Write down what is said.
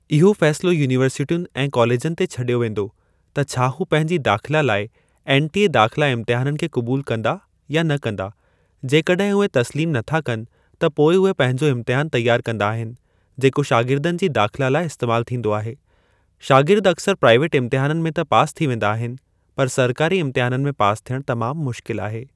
इहो फ़ैसिलो यूनीवर्सिटियुनि ऐं कॉलेजनि ते छडि॒यो वेंदो त छा हू पंहिंजी दाख़िला लाइ एनटीए दाख़िला इम्तहाननि खे क़बूल कंदा या न कंदा। जेकड॒हिं उहे तस्लीम नथा कनि त पोइ उहे पंहिंजो इम्तिहान तयार कंदा आहिनि जेको शागिर्दनि जी दाख़िला लाइ इस्तेमाल थींदो आहे। शागिर्द अक्सरि प्राइवेट इम्तिहाननि में त पास थी वेंदा आहिनि पर सरकारी इम्तिहाननि में पास थियणु तमाम मुश्किल आहे।